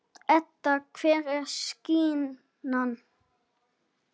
Edda: Hver er sýknan?